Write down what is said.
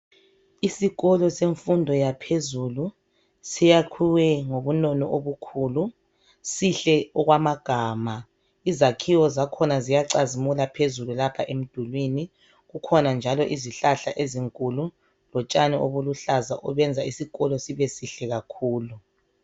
Isikolo semfundo yaphezulu siyakhwe ngobunono obukhulu sihle okwamagama izakhiwo zakhona ziyacazimula phezulu lapha emdulini kukhona njalo izihlahla ezinkulu lotshani obuluhlaza obenza isikolo sibe sihle kakhulu.